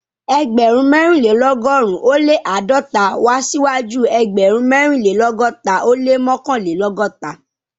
Ẹgbẹ̀rún mẹ́rìnlélọ́gọ́rùn-ún ó lé àádọ́ta wá síwájú ẹgbẹ̀rún mẹ́rìnlélọ́gọ́ta ó lé mọ́kànlélọ́gọ́ta